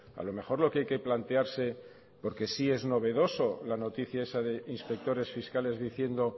a lo mejor lo que hay que plantearse porque sí es novedoso la noticia esa de inspectores fiscales diciendo